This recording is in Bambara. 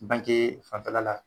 Bankee fanfɛla la